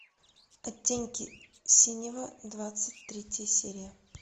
оттенки синего двадцать третья серия